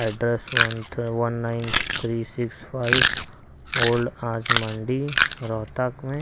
address one थ one nine three six five old आज मंडी रोहतक में--